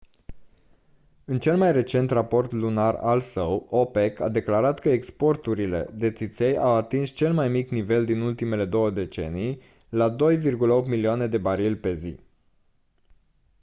în cel mai recent raport lunar al său opec a declarat că exporturile de țiței au atins cel mai mic nivel din ultimele două decenii la 2,8 milioane de barili pe zi